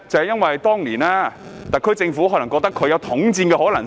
因為當年特區政府可能認為他們有統戰的可能性。